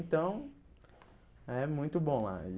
Então, é muito bom lá e.